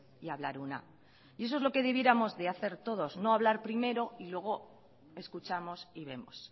y hablar una y eso es lo que debiéramos de hacer todos no hablar primero y luego escuchamos y vemos